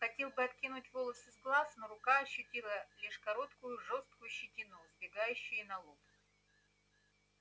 хотел было откинуть волосы с глаз но рука ощутила лишь короткую жёсткую щетину сбегающую на лоб